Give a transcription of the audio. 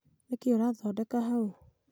nĩkĩĩ ũrathondeka hau?